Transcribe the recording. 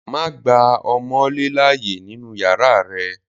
Don't allow wall-gecko in your room!